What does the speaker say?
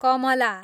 Kamala